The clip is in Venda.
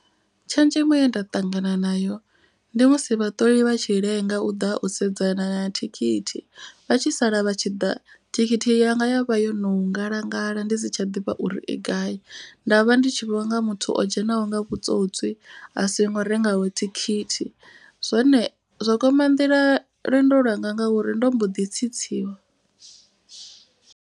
Tshenzhemo ye nda ṱangana nayo ndi musi vhaṱoli vha tshi lenga u ḓa u sedzana na thikhithi. Vha tshi sala vha tshi ḓa thikhithi yanga ya vha yo no ngalangala ndi si tsha ḓivha uri i gai. Nda vha ndi tshi vhonga muthu o dzhenaho nga vhutswotswi a songo rengaho thikhithi. Zwone zwo kwama nḓila lwendo lwanga ngauri ndo mbo ḓi tsitsiwa.